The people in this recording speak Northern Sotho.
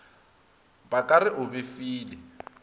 ba ka re o befile